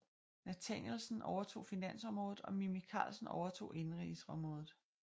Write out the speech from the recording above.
Nathanielsen overtog finansområdet og Mimi Karlsen overtog indenrigsområdet